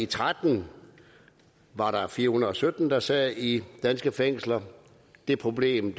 tretten var der fire hundrede og sytten der sad i danske fængsler det problem